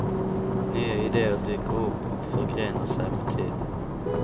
Nya ideer dyker upp och förgrenar sig med tiden.